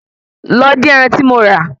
Lọ dín ẹran tí mo rà